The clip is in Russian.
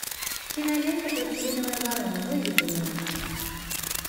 кинолента пластилиновая ворона выведи мне